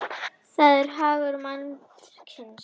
það er hagur mannkynsins.